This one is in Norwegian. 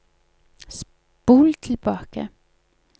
spol tilbake